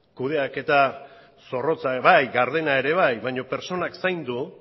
kudeaketa zorrotza bai gardena ere bai baina pertsonak zaindu